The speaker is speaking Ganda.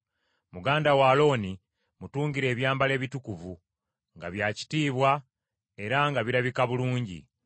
Muganda wo Alooni mutungire ebyambalo ebitukuvu, nga bya kitiibwa era nga birabika bulungi.